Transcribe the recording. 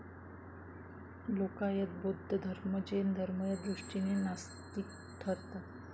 लोकायत, बौद्ध धर्म, जैन धर्म या दृष्टिने नास्तिक ठरतात.